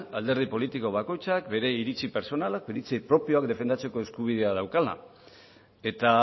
alderdi politiko bakoitzak bere iritzi pertsonala iritzi propioak defendatzeko eskubidea daukala eta